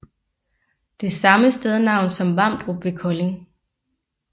Det er samme stednavn som Vamdrup ved Kolding